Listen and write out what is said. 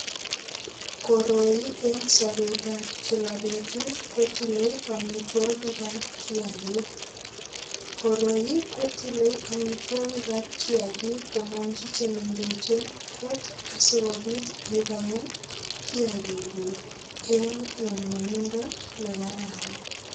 Koroi eng' sobetab kila betut kotilei omitwokikab kiyakik koroi kotilei omitwokikab kiyakik komonkchi chemengechen kot asikobit ibaen kiyakik kuk eng' nyumnyumindo nekararan